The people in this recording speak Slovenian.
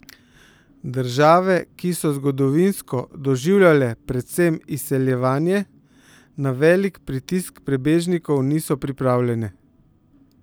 Države, ki so zgodovinsko doživljale predvsem izseljevanje, na velik pritisk prebežnikov niso pripravljene.